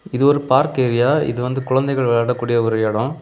இது ஒரு park area . இது வந்து குழந்தைகள் விளையாடக்கூடிய ஒரு எடம்.